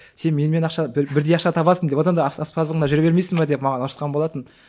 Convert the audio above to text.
сен менімен ақша бірдей ақша табасың одан да аспаздығыңда жүре бермейсің бе деп маған ұрысқан болатын